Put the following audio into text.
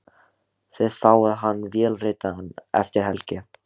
Þið fáið hann vélritaðan eftir helgi.